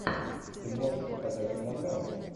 ты можешь показать мелодраму